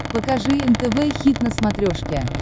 покажи нтв хит на смотрешке